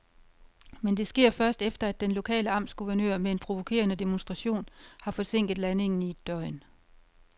Men det sker først, efter at den lokale amtsguvernør med en provokerende demonstration har forsinket landingen i et døgn.